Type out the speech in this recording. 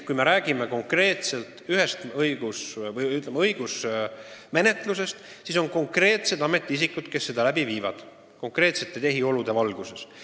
Kui me räägime konkreetselt õigusmenetlusest, siis selle viivad läbi konkreetsed ametisikud konkreetsete tehiolude kehtides.